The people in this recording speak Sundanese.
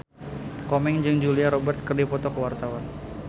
Komeng jeung Julia Robert keur dipoto ku wartawan